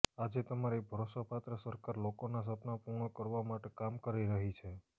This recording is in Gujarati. આજે તમારી ભરોસાપાત્ર સરકાર લોકોના સપના પૂર્ણ કરવા માટે કામ કરી રહી છે